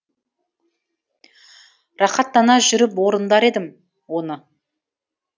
рақаттана жүріп орындар едім оны